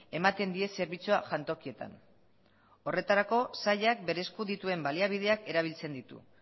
ematen die zerbitzua jantokietan horretarako sailak bere esku dituen baliabideak erabiltzen ditu